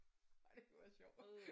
Ej det kunne være sjovt